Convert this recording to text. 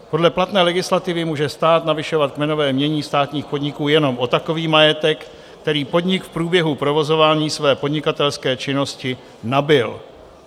Podle platné legislativy může stát navyšovat kmenové jmění státních podniků jenom o takový majetek, který podnik v průběhu provozování své podnikatelské činnosti nabyl.